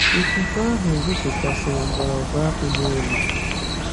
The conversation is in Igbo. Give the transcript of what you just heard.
Ifufe ahụ bụpụtasịrị mgbọrọgwụ akpu n'elu